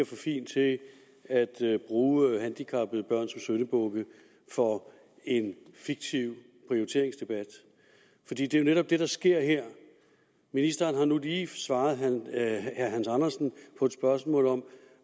fin til at bruge handicappede børn som syndebukke for en fiktiv prioriteringsdebat for det er jo netop det der sker her ministeren har nu lige svaret herre hans andersen på et spørgsmål om